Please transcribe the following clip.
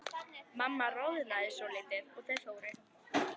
Mamma roðnaði svolítið og þau fóru.